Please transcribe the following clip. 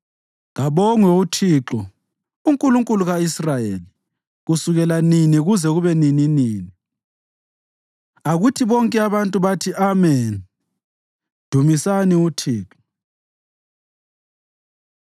Kabongwe uThixo, uNkulunkulu ka-Israyeli, kusukela nini kuze kube nininini. Akuthi bonke abantu bathi, “Ameni!” Dumisani uThixo.